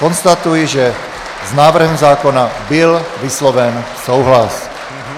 Konstatuji, že s návrhem zákona byl vysloven souhlas.